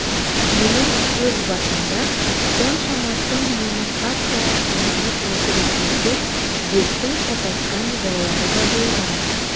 менің өз басымда соншама тым мені қатты ашуланып отыр екен деп бектің шатасқан жайлары да болған